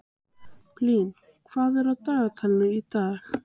Blín, hvað er á dagatalinu í dag?